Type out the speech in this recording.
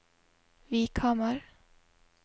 Vikhamar